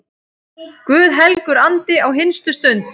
Guð helgur andi, á hinstu stund